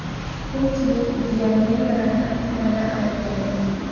Ko‘pchilik Gyanendrani fitnada ayblaydi .